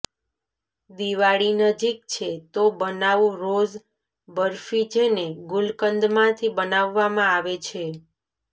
દિવાળી નજીક છે તો બનાવો રોઝ બરફી જેને ગુલકંદમાંથી બનાવવામાં આવે છે